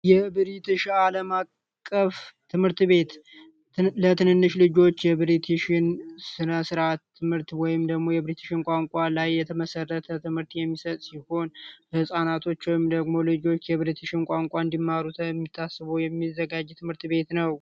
የብሪቲሽ አለማቀፍ ትምህርት ቤት ለትንንሽ ልጆች የብስራት ትምህርት ወይም ደሞ የብሪቲሽን ቋንቋ ላይ የተመሰረተ ትምህርት የሚሰጥ ሲሆን ህጻናቶች ደግሞ ልጆች የብረት እንኳን እንዲማሩ የሚዘጋጅ ትምህርት ቤት ነው